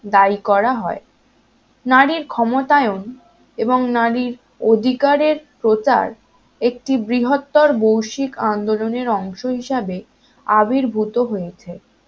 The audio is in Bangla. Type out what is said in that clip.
দায়ী করা হয় নারীর ক্ষমতায়ন এবং নারীর অধিকারের প্রচার একটি বৃহত্তর বৈষিক আন্দোলনের অংশ হিসেবে আবির্ভূত হয়েছে